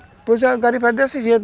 é desse